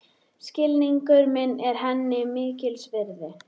Skilningur minn er henni mikils virði.